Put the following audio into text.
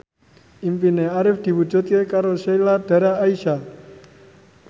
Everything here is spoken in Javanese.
impine Arif diwujudke karo Sheila Dara Aisha